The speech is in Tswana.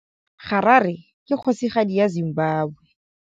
Harare ke kgosigadi ya Zimbabwe.